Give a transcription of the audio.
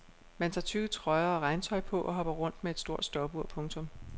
Man tager tykke trøjer og regntøj på og hopper rundt med et stopur. punktum